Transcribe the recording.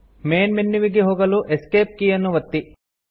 main ಮನ್ಯುವಿಗೆ ಹೋಗಲು escape ಕೀಯನ್ನು ಒತ್ತಿ